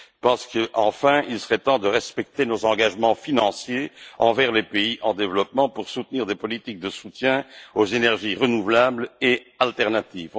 Je pense qu'il serait enfin temps de respecter nos engagements financiers envers les pays en développement pour soutenir des politiques de soutien aux énergies renouvelables et alternatives.